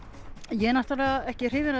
ég er náttúrulega ekki hrifinn af